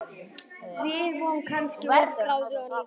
Við vorum kannski of gráðugar líka.